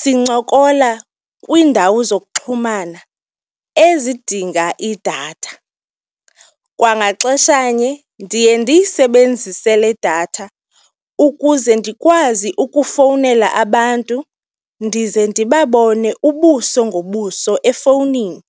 sincokola kwiindawo zokuxhumana ezidinga idatha. Kwangexeshanye ndiye ndiyisebenzise le datha ukuze ndikwazi ukufowunela abantu ndize ndibabone ubuso ngobuso efowunini.